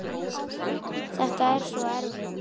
Þetta er svo erfitt.